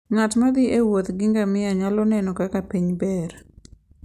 Ng'at ma thi e wuoth gi ngamia nyalo neno kaka piny ber.